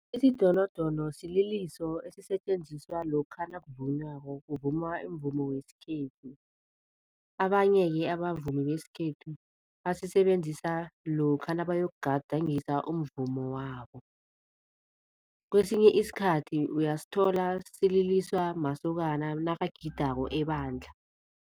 Isidonodono sililiso esisetjenziswa lokha nakuvunywako, kuvunywa umvumo wesikhethu. Abanye-ke abavumi besikhethu basisebenzisa lokha nabayokugadangisa umvumo wabo, kwesinye isikhathi uyasithola sililiswa masokana nakagidako ebandla.